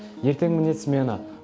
ертең міне смена